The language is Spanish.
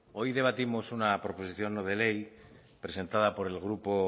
hoy debatimos una proposición no de ley presentada por el grupo